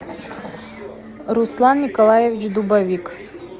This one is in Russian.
руслан николаевич дубовик